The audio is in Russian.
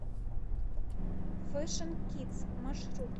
фэшн кидс маршрут